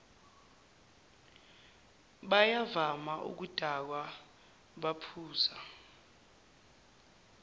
bayavama ukudakwa baphuza